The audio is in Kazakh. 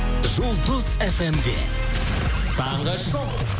жұлдыз фм де таңғы шоу